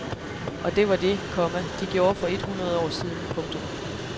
Og det var det, komma de gjorde for et hundrede år siden. punktum